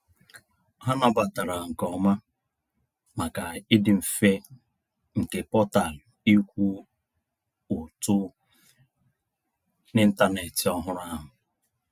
Ha nabatara nke oma, maka ịdị mfe nke portal ịkwụ ụtụ n’ịntanetị ọhụrụ ahụ.